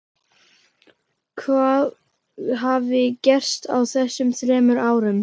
Hvað hafði gerst á þessum þremur árum?